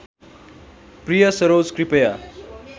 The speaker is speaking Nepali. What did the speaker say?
प्रिय सरोज कृपया